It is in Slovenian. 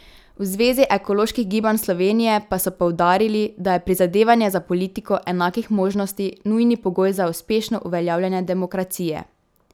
V Zvezi ekoloških gibanj Slovenije pa so poudarili, da je prizadevanje za politiko enakih možnosti nujni pogoj za uspešno uveljavljanje demokracije.